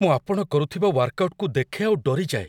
ମୁଁ ଆପଣ କରୁଥିବା ୱାର୍କଆଉଟକୁ ଦେଖେ ଆଉ ଡରିଯାଏ।